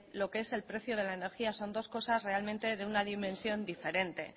lo que es el precio de la energía son dos cosas realmente de una dimensión diferente